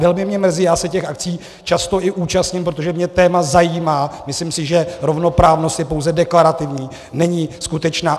Velmi mě mrzí, já se těch akcí často i účastním, protože mě téma zajímá, myslím si, že rovnoprávnost je pouze deklarativní, není skutečná.